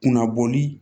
Kunnabɔli